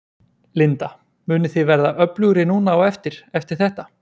Linda: Munið þið verða öflugri núna á eftir, eftir þetta?